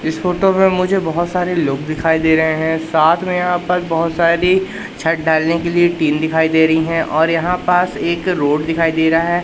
इस फोटो में मुझे बहोत सारे लोग दिखाई दे रहे हैं साथ में यहां पर बहोत सारी छत ढालने के लिए टीन दिखाई दे रही हैं और यहां पास एक रोड दिखाई दे रहा है।